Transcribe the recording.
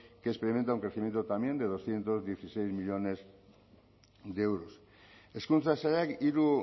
que experimenta un crecimiento también de doscientos dieciséis millónes de euros hezkuntza sailak hiru